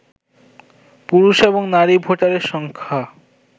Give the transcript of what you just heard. পুরুষ এবং নারী ভোটারের সংখ্যা